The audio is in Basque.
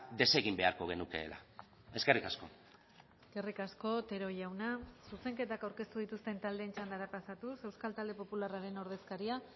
desegin beharko genukeela eskerrik asko eskerrik asko otero jauna zuzenketak aurkeztu dituzten taldeen txandara pasatuz euskal talde popularraren ordezkaria